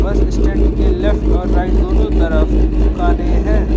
बस स्टैंड के लेफ्ट और राइट दोनों तरफ दुकाने हैं।